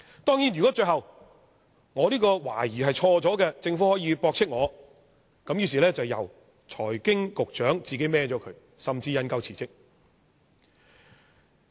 當然，如果最後我這個懷疑是錯的，政府可以駁斥我——那麼便由財經事務及庫務局局長承擔，甚至引咎辭職。